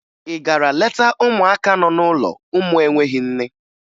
Ị gara leta ụmụaka nọ n'ụlọ ụmụ enweghi nne?